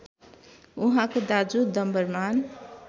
उहाँको दाजु डम्बरमान